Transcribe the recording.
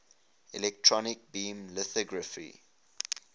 electron beam lithography